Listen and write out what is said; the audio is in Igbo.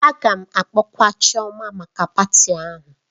A ga-akpọkwa Chioma maka patị ahụ